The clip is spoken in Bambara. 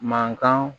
Mankan